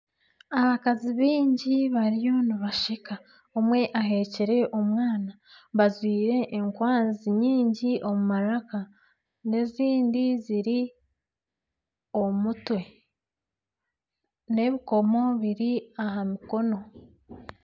Abakazi baingi bariyo nibasheka omwe ahekire omwana, bajwire enkwanzi nyingi omu maraka, n'ezindi ziri omu mutwe n'ebikomo biri aha mukono